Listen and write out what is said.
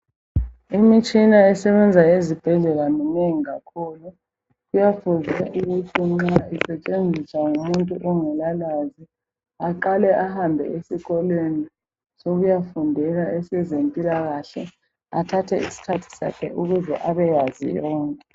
Imitshina esebenza ezibhedlela minengi kakhulu kuyafundiswa ukuthi nxa isetshenziswa ngumuntu ongelalwazi aqale ahambe esikolweni sokuyafundela esezempilakahle athathe isikhathi sakhe ukuze abeyazi yonke.